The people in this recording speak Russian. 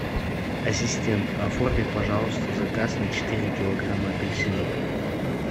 ассистент оформи пожалуйста заказ на четыре килограмма апельсинов